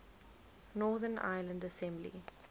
northern ireland assembly